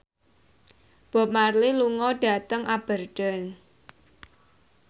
Bob Marley lunga dhateng Aberdeen